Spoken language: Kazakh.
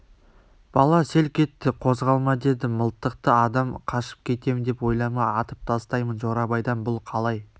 бала селк етті қозғалма деді мылтықты адам қашып кетем деп ойлама атып тастаймын жорабайдан бұл қалай